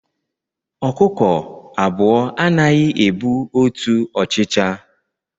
Ọkụkọ abụọ anaghị ebu otu ọchịcha